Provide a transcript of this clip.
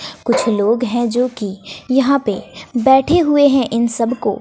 कुछ लोग हैं जो कि यहां पे बैठे हुए हैं इन सब को--